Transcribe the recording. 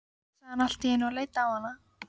sagði hann allt í einu og leit á hana.